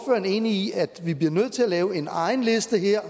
enig i at vi bliver nødt til at lave en egen liste her